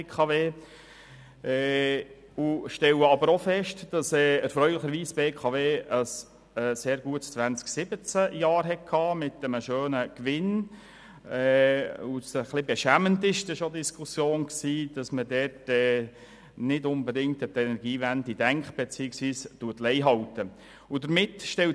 Wir stellen aber auch fest, dass die BKW 2017 erfreulicherweise ein sehr gutes Jahr mit einem schönen Gewinn hatte, und es ist etwas beschämend, dass man dort nicht unbedingt an die Energiewende denkt beziehungsweise «Lei» hält.